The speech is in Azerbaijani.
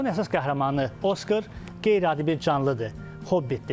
Kitabın əsas qəhrəmanı Oskar qeyri-adi bir canlıdır, Hobbitdir.